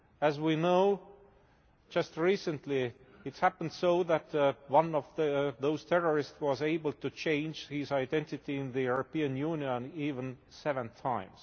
As we know, just recently it happened so that one of those terrorists was able to change his identity in the European Union even 7 times.